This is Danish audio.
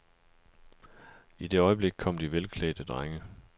I det øjeblik kom de velklædte drenge.